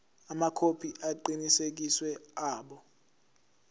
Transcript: amakhophi aqinisekisiwe abo